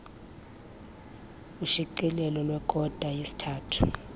ushicilelo lwekota yesithathu